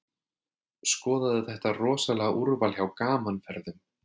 Skoðaðu þetta rosalega úrval hjá Gaman Ferðum.